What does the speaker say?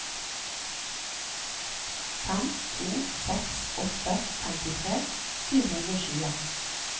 fem to seks åtte femtitre sju hundre og tjue